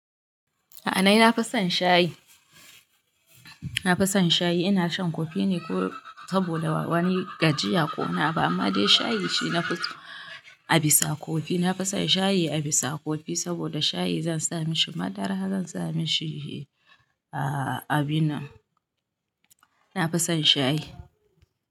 A'a nina na fi son shayi na fi son shayi ina shan kofi ne ko saboda wani gajiya ko wani abu amma dai shayi shi nafi so a bisa kofi. Nafi sab shayi a bisa kofi saboda shayi zan sa mishi madara, zan sa mishi abin nan. Nafi san shayi.